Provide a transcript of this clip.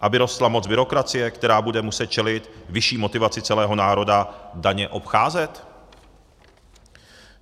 Aby rostla moc byrokracie, která bude muset čelit vyšší motivaci celého národa daně obcházet?